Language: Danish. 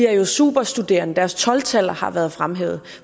er superstuderende deres tolv taller har været fremhævet